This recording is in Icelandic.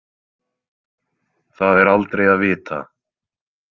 Það er aldrei að vita